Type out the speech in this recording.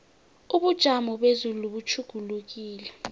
ubujamo bezulu butjhugulukile